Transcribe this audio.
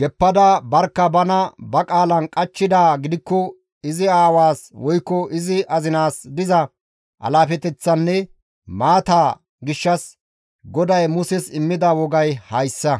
geppada barkka bana ba qaalan qachchidaa gidikko izi aawaas woykko izi azinaas diza alaafeteththanne maataa gishshas GODAY Muses immida wogay hayssa.